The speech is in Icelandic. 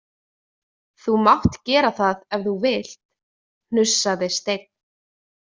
Þú mátt gera það ef þú vilt, hnussaði Steinn.